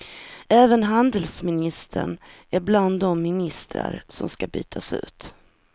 Även handelsministern är bland de ministrar som ska bytas ut.